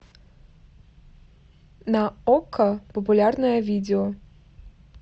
на окко популярное видео